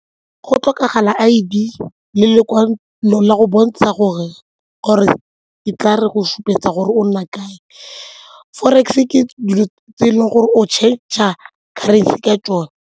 Go tlhokagala I_d le lekwalo la go bontsha gore or-e e tla re go supetsa gore o nna kae. Forex ke dilo tse e leng gore o changer ka tsone.